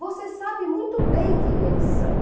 Você sabe muito bem quem eles são.